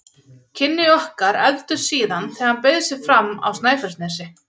Kynni okkar efldust síðan þegar hann bauð sig fram á Snæfellsnesi.